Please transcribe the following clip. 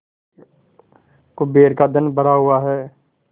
कुबेर का धन भरा हुआ है